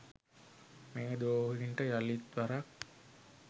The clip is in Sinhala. මේ ද්‍රෝහීන්ට යළිත් වරක්